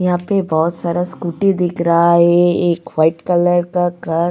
यहा पे बहुत सारा स्कूटी दिख रहा है एक व्हाइट कलर का कार --